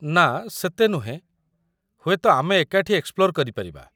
ନା, ସେତେ ନୁହେଁ । ହୁଏତ ଆମେ ଏକାଠି ଏକ୍ସପ୍ଲୋର୍ କରିପାରିବା ।